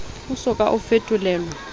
o so ka o fetolelwa